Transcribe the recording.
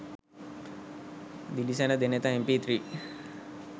dilisena denetha mp3